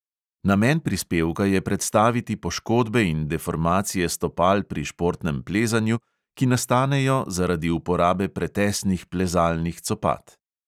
Namen prispevka je predstaviti poškodbe in deformacije stopal pri športnem plezanju, ki nastanejo zaradi uporabe pretesnih plezalnih copat.